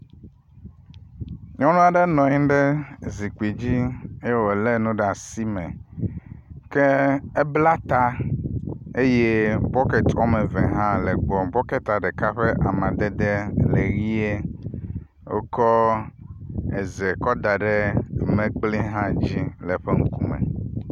Nyɔnu aɖe nɔ anyi ɖe zikpui dzi ye wo le nu ɖe asi me ke ebla ta eye bɔketi wɔme eve hã le egbɔ. Bɔketia ɖeka ƒe amadede le ʋie. Wokɔ eze kɔ da ɖe mlekpui hã dzi le eƒe ŋkume.